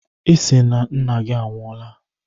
Ị sị Nna gị anwụọla?